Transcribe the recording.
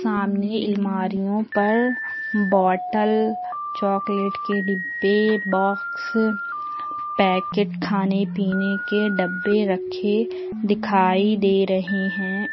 सामने एलमारियों पर बॉटल चॉकलेट के डिब्बे बॉक्स पैकेट खाने पीने के डब्बे रखे दिखाई दे रहे हैं।